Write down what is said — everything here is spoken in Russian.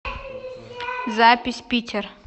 запись питер